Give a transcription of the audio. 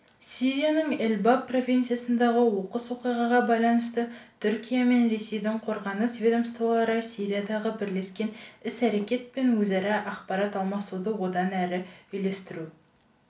сирияның эль-баб провинциясындағы оқыс оқиғаға байланысты түркия мен ресейдің қорғаныс ведомстволары сириядағы бірлескен іс-әрекет пен өзара ақпарат алмасуды одан әрі үйлестіру